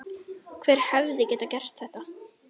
Hver hefði getað gert þetta?